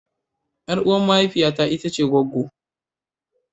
Yar uwa mahaifiya ita ce gwaggwo.